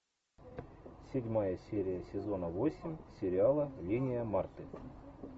седьмая серия сезона восемь сериала линия марты